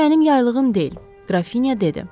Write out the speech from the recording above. Bu mənim yaylığım deyil, qrafineya dedi.